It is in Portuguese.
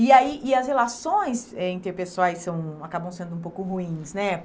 E aí, e as relações eh interpessoais são acabam sendo um pouco ruins, né?